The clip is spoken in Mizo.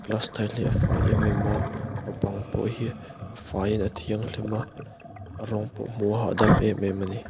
glass tile hi a fai em em a a bang pawh hi a fai in a thianghlim a a rawng pawh hmuh a hah dam em em a ni.